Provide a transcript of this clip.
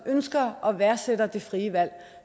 ønsker og værdsætter det frie valg